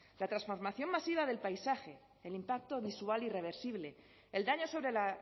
la transformación masiva del paisaje el impacto visual irreversible el daño sobre la